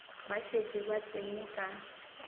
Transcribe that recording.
ba šetše ba tsene ka